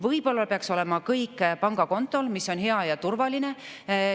Võib-olla peakski olema kõik pangakontol, mis on hea ja turvaline.